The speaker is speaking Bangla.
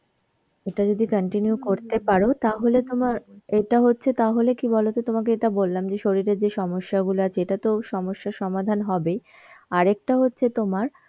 এটা যদি continue করতে পারো তাহলে তোমার, এটা হচ্ছে তাহলে কি বলতো তোমাকে এটা বললাম যে শরীরের যে সমস্যা গুলো আছে এটাতেও সমস্যার সমাধান হবে. আরেকটা হচ্ছে তোমার